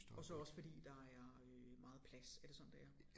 Og så også fordi der er øh meget plads er det sådan det er?